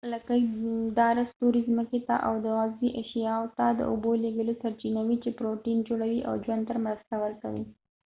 لکۍ داره ستوري ځمکې ته او د عضوي اشیاو ته د اوبو لیږلو سرچینه وي چې پروټین جوړوي او ژوند ته مرسته ورکوي